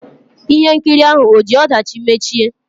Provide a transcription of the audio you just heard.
Ihe nkiri ahụ ò ji ọdachi mechie?